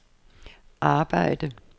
arbejde